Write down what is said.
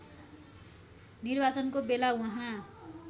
निर्वाचनको बेला उहाँ